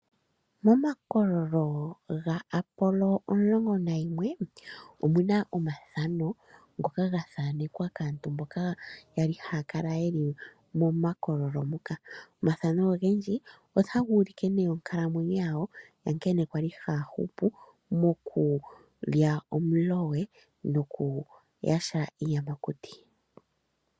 Momakololo gaApolo 11 omuna omathano ngoka ga thanekwa laantu mboka yali haya kala yeli momakololo moka. Omathano ogendji otaga ulike nee onkalamwenyo yawo ya nkene kwali haya hupu mokulya omulowe nokuyaha iiyamakuti.